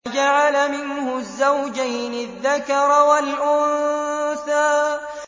فَجَعَلَ مِنْهُ الزَّوْجَيْنِ الذَّكَرَ وَالْأُنثَىٰ